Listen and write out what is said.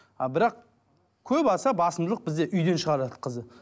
а бірақ көп аса басымдылық бізде үйден шығарады қызды